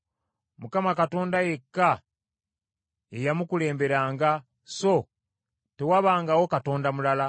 Mukama Katonda yekka ye yamukulemberanga; so tewabangawo katonda mulala.